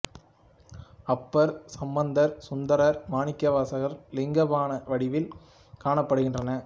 அப்பர் சம்பந்தர் சுந்தரர் மாணிக்கவாசகர் லிங்க பாண வடிவில் காணப்படுகின்றனர்